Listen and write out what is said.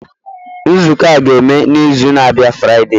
Nzukọ a ga-eme n'izu na-abịa Friday.